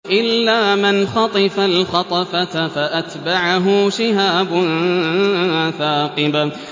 إِلَّا مَنْ خَطِفَ الْخَطْفَةَ فَأَتْبَعَهُ شِهَابٌ ثَاقِبٌ